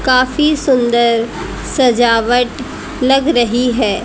काफी सुंदर सजावट लग रही है।